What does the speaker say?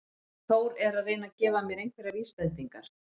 Þór er að reyna að gefa mér einhverjar vísbendingar.